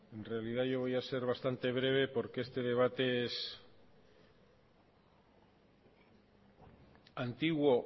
en realidad yo voy a ser bastante breve porque este debate es antiguo